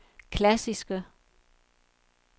klassiske